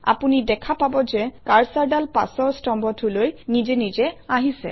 আপুনি দেখা পাব যে কাৰ্চৰডাল পাছৰ স্তম্ভটোলৈ নিজে নিজে আহিছে